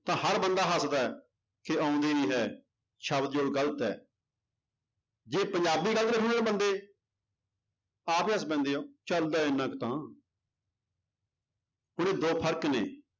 ਤਾਂ ਹਰ ਬੰਦਾ ਹੱਸਦਾ ਹੈ ਕਿ ਆਉਂਦੀ ਨੀ ਹੈ, ਸ਼ਬਦ ਜੋੜ ਗ਼ਲਤ ਹੈ ਜੇ ਪੰਜਾਬੀ ਗ਼ਲਤ ਲਿਖਣ ਬੰਦੇ ਆਪ ਹੀ ਹੱਸ ਪੈਂਦੇ ਹੈ ਚੱਲਦਾ ਹੈ ਇੰਨਾ ਕੁ ਤਾਂ ਹੁਣ ਇਹ ਦੋ ਫ਼ਰਕ ਨੇ